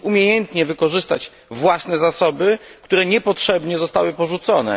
Musimy umiejętnie wykorzystać własne zasoby, które niepotrzebnie zostały porzucone.